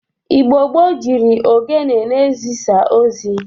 Igbo gboo jiri ogene na-ezisa ozi.